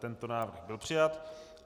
Tento návrh byl přijat.